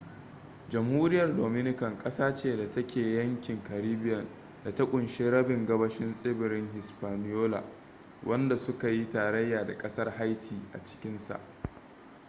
jamhuriyar dominican da sifaniyanci: república dominicana ƙasa ce da ke yankin caribbean da ta kunshi rabin gabashin tsibirin hispaniola wanda su ka yi tarayya da kasar haiti a cikinsaa